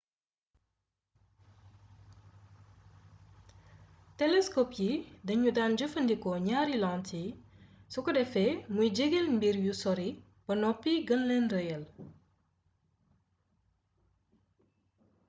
telescope yi dañu daan jëfandikoo ñaari lentille su ko defee muy jegeel mbir yu sori ba noppi gën leen rëyal